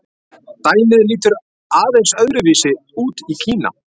Dæmið lítur aðeins öðru vísi út í Kína.